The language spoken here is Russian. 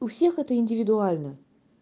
у всех это индивидуально